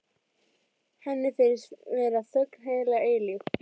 Henni finnst vera þögn heila eilífð.